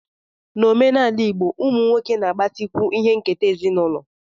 N'omenala igbo, ụmụ nwoke na-agbatịkwu ihe nketa ezinụlọ